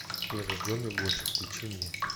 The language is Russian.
прирожденный гонщик включи мне